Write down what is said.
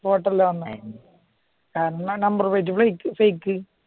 photo അല്ലെ വന്നേ കാരണം നമ്പർ പ്ലേറ്റ് തെറ്റി